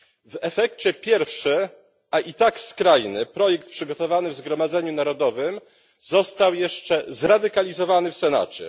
W efekcie pierwszy a i tak skrajny projekt przygotowany w Zgromadzeniu Narodowym został jeszcze zradykalizowany w Senacie.